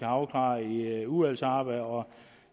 afklaret i udvalgsarbejdet og